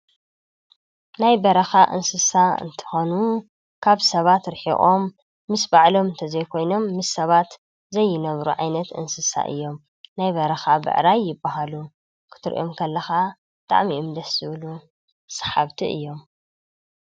ናይ በረካ እንስሳ እንትኮኑ ካብ ሰባት ርሒቆም ምስ ባዕሎም እንተዘይኮይኖም ምስ ሰባት ዘይነብሩ ዓይነት እንስሳ እዮም ናይ በረካ ብዕራይ ይበሃሉ ክትሪኦም ከለካ ብጣዕሚ እዮም ደስ ዝብሉ ሰሓብቲ እዮም።